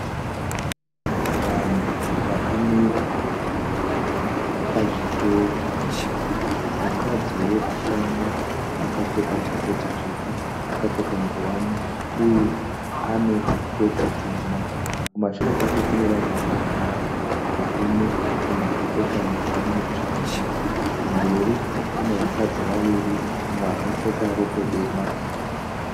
Vanhu vakamira pazvitoro. Mukadzi wekutanga akapfeka jaketi tsvuku akapfeka ngowani uye ane siketi tema. Kumashure kwake kune vanhu vakagara varume umwe akapfeka ngowani tsvuku. Kumberi kune vakadzi vaviri umwe akapfeka rokwe dema.